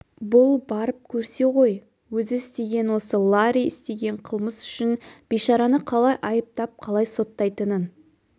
бұл барып көрсе ғой өзі істеген осы ларри істеген қылмыс үшін бейшараны қалай айыптап қалай соттайтынын